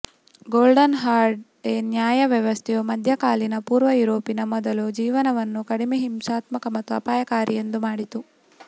golden horde ನ್ಯಾಯ ವ್ಯವಸ್ಥೆಯು ಮಧ್ಯಕಾಲೀನ ಪೂರ್ವ ಯೂರೋಪಿನ ಮೊದಲು ಜೀವನವನ್ನು ಕಡಿಮೆ ಹಿಂಸಾತ್ಮಕ ಮತ್ತು ಅಪಾಯಕಾರಿ ಎಂದು ಮಾಡಿತು